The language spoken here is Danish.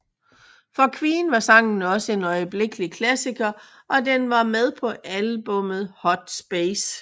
For Queen var sangen også en øjeblikkelig klassikker og den var med på albummet Hot Space